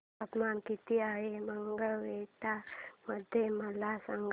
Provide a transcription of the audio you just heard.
तापमान किती आहे मंगळवेढा मध्ये मला सांगा